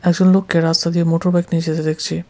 একজন লোককে রাস্তা দিয়ে মোটর বাইক নিয়ে যেতে দেখছি।